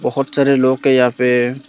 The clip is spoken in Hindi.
बहोत सारे लोग के यहां पे--